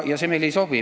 See meile ei sobi.